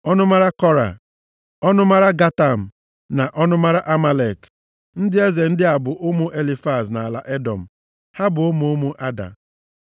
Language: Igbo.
Ọnụmara Kora, ọnụmara Gatam na ọnụmara Amalek. Ndị eze ndị a bụ ụmụ Elifaz nʼala Edọm. Ha bụ ụmụ ụmụ Ada.